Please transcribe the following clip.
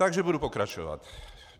Takže budu pokračovat.